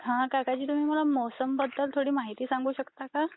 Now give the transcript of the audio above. हा काकाजी मला तुम्ही मोसम बद्दल माहीती सांगू शकता का?